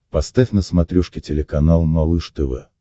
поставь на смотрешке телеканал малыш тв